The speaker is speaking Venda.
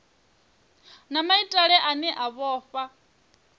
na maitele ane a vhofha